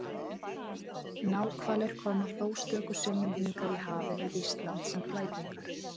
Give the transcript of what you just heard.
Náhvalir koma þó stöku sinnum hingað í hafið við Ísland sem flækingar.